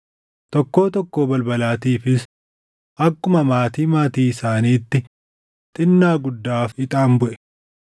Tokkoo tokkoo balbalaatiifis akkuma maatii maatii isaaniitti xinnaa guddaaf ixaan buʼe.